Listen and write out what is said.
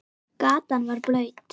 Gatan var blaut.